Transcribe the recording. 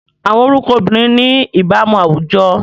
Awọn orukọ obirin ni ibaramu awujọ